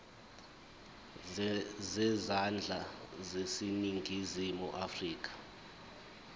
zezandla zaseningizimu afrika